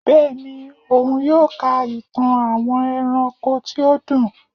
Bẹẹni, òun yóò ká ìtàn àwọn eránkó tí ó dùn